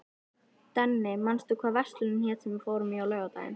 Denni, manstu hvað verslunin hét sem við fórum í á laugardaginn?